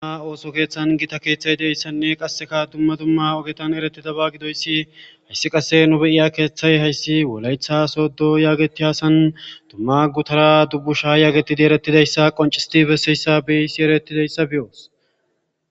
Ha ooso kethan gita ooso keethay de'iyaysanne qaseka duma duma ogetan eretidoba gididoysi hesi qase nu be'iyo keethay wolaytha sodo getetiza san duma gutara Dubusha yegetidi eretidays qoncisidi besizaysi eretidays beyos.